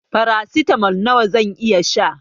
Farasitamol nawa zan iya sha